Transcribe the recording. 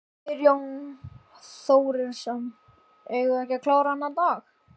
Geir Jón Þórisson: Eigum við ekki að klára þennan dag?